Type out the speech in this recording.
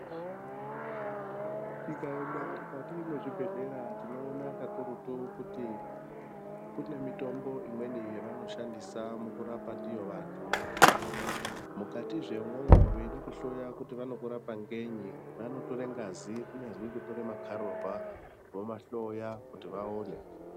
Tikaenda mukati mwezvibhedhlera tinoona kakurutu kuti kune mitombo imweni yavanoshandisa mukurapa ndiyo vantu. Mukatizve imwomwo veide kuhloya kuti vanokurapa ngenyi vanotora ngazi kunyazi kutora makararwa vomahloya kuti vaone.